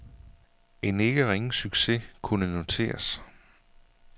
En ikke ringe succes kunne noteres.